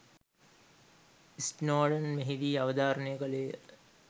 Snowden මෙහිදී අවධාරණය කළේ ය